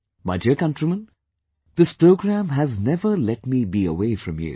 My dear countrymen, this program has never let me be away from you